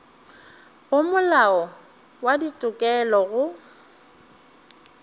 go molao wa ditokelo go